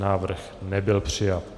Návrh nebyl přijat.